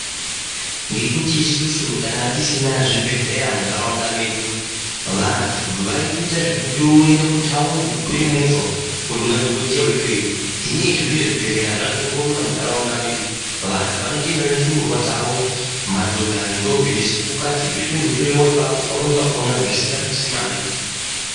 Ngekuti isusu tanga tisina zvibhedhlera muntaraunda medu, vantu vaitoita zvekutokwire movha kundoone dhokoteya weikweyeyo. Hino izvezvi zvazvirongomuna muntaraunda medu. Vantu vanotoenda nendumurwa dzavo, madhodha nendombi nesikukati zveindohloyiwa apapo pamweni pakona zvisingadusi mare.